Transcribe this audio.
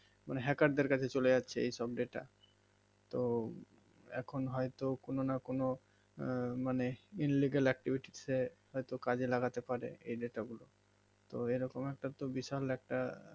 মানে hacker দের কাছে চলে যাচ্ছে এই সব delta তো এখ হয় তো কোনো না কোনো মানে illegal activity সে হয় তো কাজে লাগেতা পারে এই delta গুলো তো এইরকম একটা তো বিশাল একটা